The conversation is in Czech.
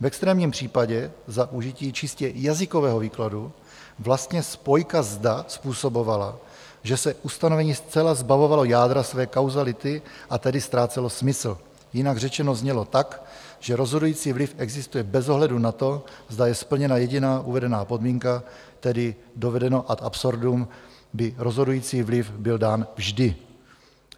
V extrémním případě za užití čistě jazykového výkladu vlastně spojka "zda" způsobovala, že se ustanovení zcela zbavovalo jádra své kauzality, a tedy ztrácelo smysl, jinak řečeno znělo tak, že rozhodující vliv existuje bez ohledu na to, zda je splněna jediná uvedená podmínka, tedy dovedeno ad absurdum, by rozhodující vliv byl dán vždy.